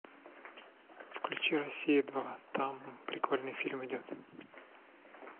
включи россия два там прикольный фильм идет